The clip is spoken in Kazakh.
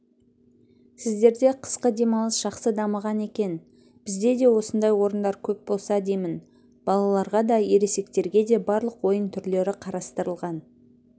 сіздерде қысқы демалыс жақсы дамыған екен бізде де осындай орындар көп болса деймін балаларға да ересектерге де барлық ойын түрлері қарастырылған